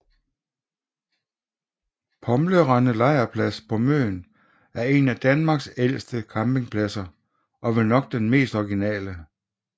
Pomlerende Lejrplads på Møn er en af Danmarks ældste campingpladser og vel nok den mest originale